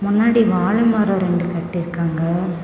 முன்னாடி வாழ மரம் ரெண்டு கட்டி இருக்காங்க.